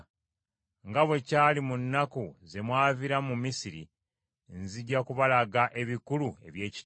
Nga bwe kyali mu nnaku ze mwaviiramu mu Misiri, nzija kubalaga ebikulu eby’ekitalo.